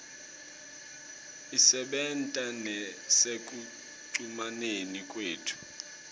isebenta nasekucumaneni kwethu